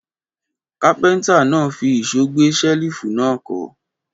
Kápẹ́ńtà náà fi ìṣó gbé ṣẹ́lífù náà kọ́.